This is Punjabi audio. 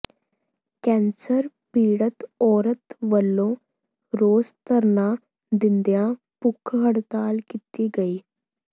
ਕੈਂਸਰ ਪੀੜਤ ਔਰਤ ਵਲੋਂ ਰੋਸ ਧਰਨਾ ਦਿੰਦਿਆਂ ਭੁੱਖ ਹੜਤਾਲ ਕੀਤੀ ਗਈ